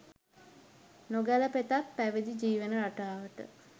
නොගැළපෙතත් පැවිදි ජීවන රටාවට